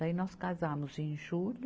Daí nós casamos em julho.